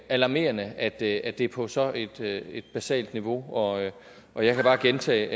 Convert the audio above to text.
alarmerende at det er det er på et så basalt niveau og og jeg kan bare gentage